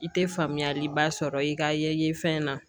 I tɛ faamuyaliba sɔrɔ i ka ye fɛn na